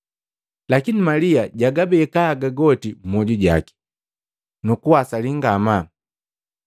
Lakini Malia jabeka haga goka mmwoju jaki nukugawasali ngamaa.